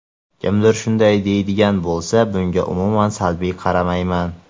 Kimdir shunday deydigan bo‘lsa, bunga umuman salbiy qaramayman.